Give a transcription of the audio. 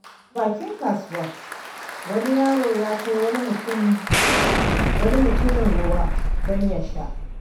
A bakin kasuwa, wani yaro ya kai wa wani mutumi ruwa don ya sha.